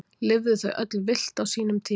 Lifðu þau öll villt á sínum tíma?